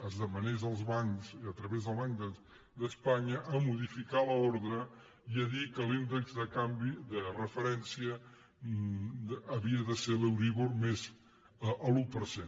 es demanés als bancs a través del banc d’espanya de modificar l’ordre i dir que l’índex de referència havia de ser l’euríbor més l’un per cent